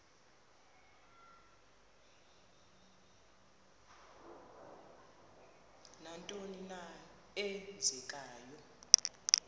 nantoni na eenzekayo